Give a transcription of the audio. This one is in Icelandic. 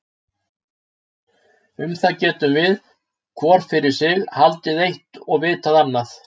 Um það getum við, hvor fyrir sig, haldið eitt og vitað annað.